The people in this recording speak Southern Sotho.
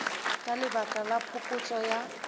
ka lebaka la phokotso ya